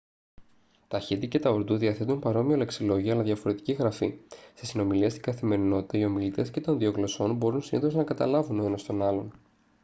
τα χίντι και τα ουρντού διαθέτουν παρόμοιο λεξιλόγιο αλλά διαφορετική γραφή σε συνομιλίες στην καθημερινότητα οι ομιλητές και των δύο γλωσσών μπορούν συνήθως να καταλάβουν ο ένας τον άλλον